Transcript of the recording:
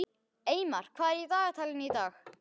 Eymar, hvað er í dagatalinu í dag?